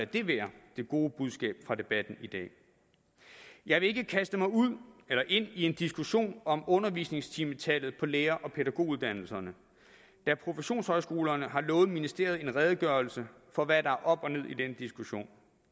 det være det gode budskab fra debatten i dag jeg vil ikke kaste mig ind i en diskussion om undervisningstimetallet på lærer og pædagoguddannelserne da professionshøjskolerne har lovet ministeriet en redegørelse for hvad der er op og ned i den diskussion